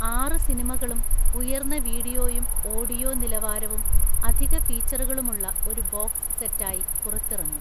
ആറ് സിനിമകളും ഉയർന്ന വീഡിയോയും ഓഡിയോ നിലവാരവും അധിക ഫീച്ചറുകളുമുള്ള ഒരു ബോക്സ് സെറ്റായി പുറത്തിറങ്ങും.